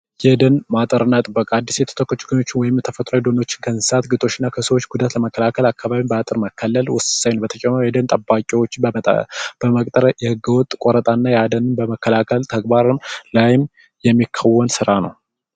የደን ማጠር እና ጥበቃ አዲሱ ተወካዮች ወይም የተፈጥሮ ደኖች ከእንስሳት ግጦሽና ከሰዎች ጉዳት ለመከላከል አካባቢ በአጥር መከለል ውሳኔ ነው። በተጨማሪ ጠባቂዎች በመቅጠር የሕገወጥ ቆረጣ እና የአደንን በመከላከል ተግባር ላይም የሚከናወን ሥራ ነው።